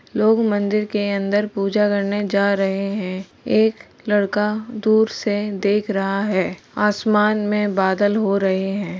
लोग मंदिर के अन्दर पूजा करने जा रहे हैं। एक लरका दूर से देख रहा है। आसमान में बादल हो रहे हैं।